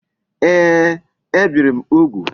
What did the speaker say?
Ee, e biri m ugwu